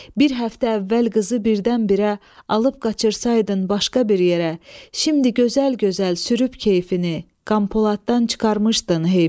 bir həftə əvvəl qızı birdənbirə alıb qaçırsaydın başqa bir yerə, şimdi gözəl-gözəl sürüb keyfini, Qanpoladdan çıxarmışdın heyfini.